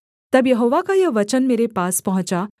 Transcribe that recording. तब यहोवा का यह वचन मेरे पास पहुँचा